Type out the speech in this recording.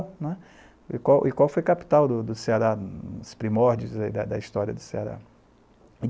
né. O Icó o Icó foi capital do do Ceará, dos primórdios da da história do Ceará.